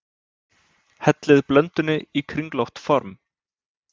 Hellið blöndunni í kringlótt form.